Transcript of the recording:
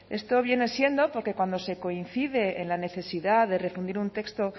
esto viene siendo porque cuando se coincide en la necesidad de refundir un texto